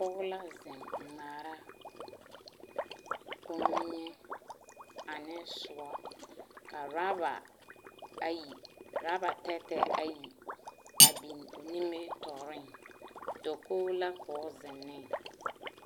Pɔge la zeŋ ŋmaara kommie ane soɔ ka rɔba ayi ka rɔba tɛɛtɛɛ ayi a biŋ o nimitɔɔreŋ dakogi ko o zeŋ ne.